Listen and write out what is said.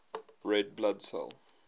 red blood cell